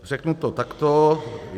Řeknu to takto.